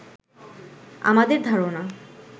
আমাদের ধারণা